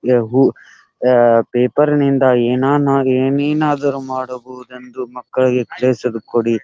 ಯಹು ಆಆ ಪೇಪರನಿಂದ ಏನಾನಾಗೆ ಏನೇನಾದರೂ ಮಾಡಬಹುದೆಂದು ಮಕ್ಕಳಿಗೆ ಕ್ಲೇಸಲು ಕೊಡಿ .